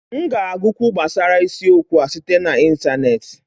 M ga-agụkwu gbasara isiokwu a site na ịntaneetị